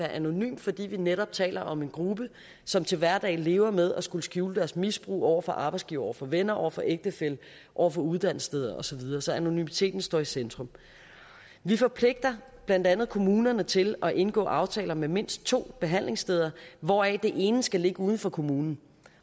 anonymt fordi vi netop taler om en gruppe som til hverdag lever med at skulle skjule deres misbrug over for arbejdsgiver over for venner over for ægtefælle over for uddannelsessteder og så videre så anonymiteten står i centrum vi forpligter blandt andet kommunerne til at indgå aftaler med mindst to behandlingssteder hvoraf det ene skal ligge uden for kommunen